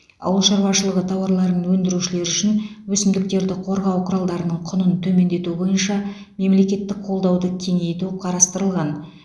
ауыл шаруашылығы тауарларын өндірушілер үшін өсімдіктерді қорғау құралдарының құнын төмендету бойынша мемлекеттік қолдауды кеңейту қарастырылған